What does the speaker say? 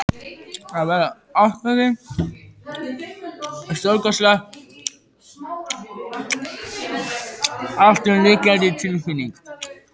Að verða ástfanginn er stórkostleg, alltumlykjandi tilfinning.